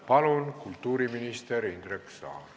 Palun, kultuuriminister Indrek Saar!